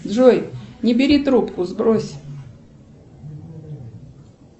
джой не бери трубку сбрось